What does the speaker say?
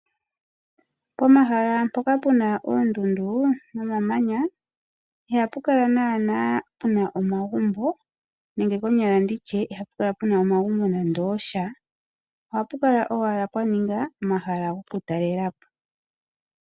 Pomahala mpoka puna oondundu nomamanya, ihapu kala puna naana puna omagumbo, nenge konyala nditye ihapu kala nande omagumbo gasha. Ohapu kala pwaninga omahala goku talelapo.